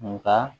Nka